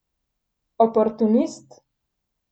Oportunist?